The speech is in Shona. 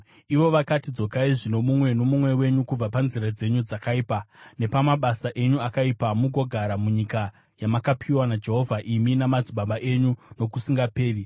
Ivo vakati, “Dzokai zvino mumwe nomumwe wenyu, kubva panzira dzenyu dzakaipa nepamabasa enyu akaipa, mugogara munyika yamakapiwa naJehovha imi namadzibaba enyu nokusingaperi.